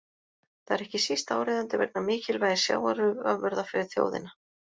Það er ekki síst áríðandi vegna mikilvægis sjávarafurða fyrir þjóðina.